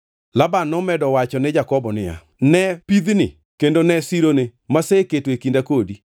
Laban nomedo wacho ne Jakobo niya, “Ne pidhni kendo ne sironi maseketo e kinda kodi.